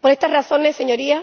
Por estas razones, Señorías,